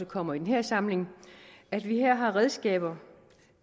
kommer i den her samling at vi her har redskaber